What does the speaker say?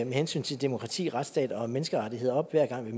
med hensyn til demokrati retsstat og menneskerettigheder op hver gang vi